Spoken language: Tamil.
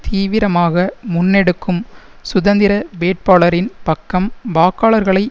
தீவிரமாக முன்னெடுக்கும் சுதந்திர வேட்பாளரின் பக்கம் வாக்காளர்களை